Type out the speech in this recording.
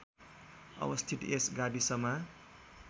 अवस्थित यस गाविसमा